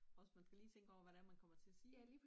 Også man skal lige tænke over hvad det er man komme til at sige